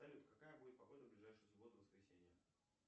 салют какая будет погода в ближайшую субботу воскресенье